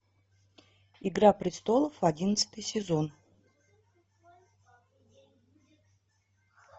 игра престолов одиннадцатый сезон